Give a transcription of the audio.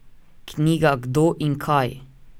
Knjiga Kdo in kaj?